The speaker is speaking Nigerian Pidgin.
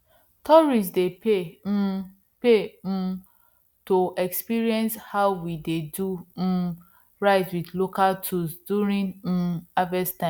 tourists dey pay um pay um to experience how we dey do um rice with local tools during um harvest time